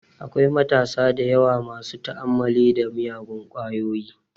Akwai matasa dayawa masu ta'ammali da miyagun kwayoyi